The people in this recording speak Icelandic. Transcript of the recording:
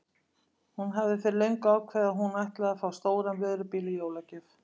Hún hafði fyrir löngu ákveðið að hún ætlaði að fá stóran vörubíl í jólagjöf.